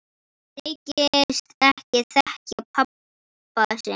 Þykist ekki þekkja pabba sinn!